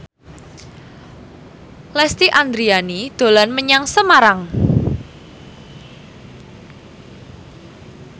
Lesti Andryani dolan menyang Semarang